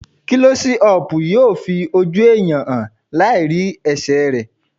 Klọ́sí ọpù yóò fi ojú ẹ̀yàn hàn láì rí ẹsẹ̀ rẹ̀.